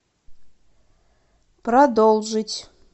продолжить